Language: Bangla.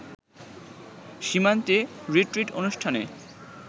সীমান্তে রিট্রিট অনুষ্ঠানে